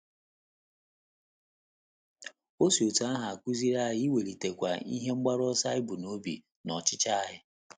O si otú ahụ akụziri anyị iwelitekwu ihe mgbaru ọsọ anyi bu n'obi na ọchịchọ anyị.